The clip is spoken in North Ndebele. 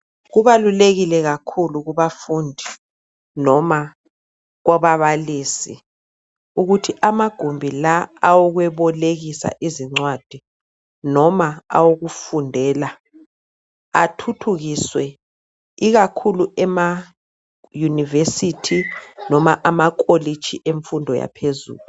Kubalulekile kakhulu kubafundi noma kubabalisi ukuthi amagumbi lawa awokubolekisa izincwadi noma okufundela athuthukiswe, ikakhulu emayunivesithi loma emakholitshi yemfundo yaphezulu.